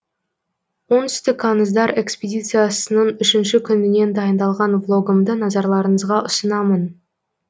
оңтүстік аңыздар экспедициясының үшінші күнінен дайындалған влогымды назарларыңызға ұсынамын